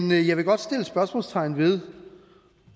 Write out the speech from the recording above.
men jeg vil godt sætte spørgsmålstegn ved